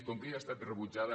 com que ja ha estat rebutjada